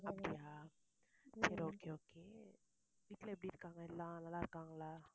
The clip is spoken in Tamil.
அப்படியா சரி okay okay வீட்ல எப்படி இருக்காங்க எல்லாம் நல்லாருக்காங்களா